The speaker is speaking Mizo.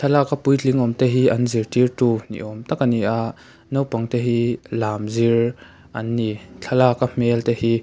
laka puitling awmte hi an zirtirtu ni awm tak a ni a naupang te hi lam zir an ni thlalaka hmel te hi--